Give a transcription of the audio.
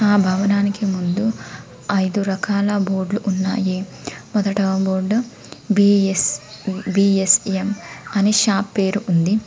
ఆ భవనానికి ముందు ఐదు రకాల బోర్డు లు ఉన్నాయి మొదట బోర్డు బి_ఎస్_బి_ఎస్_ఎం అని షాప్ పేరు ఉంది.